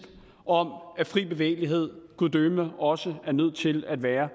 om at fri bevægelighed gud døde mig også er nødt til at være